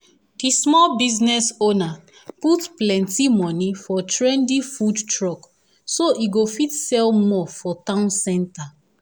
the small business owner put plenty money for trendy food truck so e go fit sell more for town center.